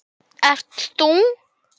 Það birti yfir honum.